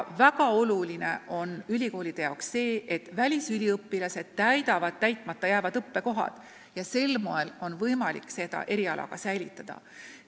Ülikoolide jaoks on väga tähtis, et välisüliõpilased täidavad täitmata jäävad õppekohad ja sel moel on võimalik erialasid hoida.